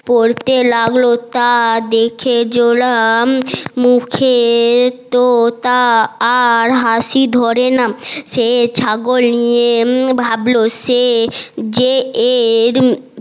পরতে লাগলো তা দেখে জোলার মুখে তো আর হাসি ধরে না সে ছাগল নিয়ে ভাবলো সে যে এর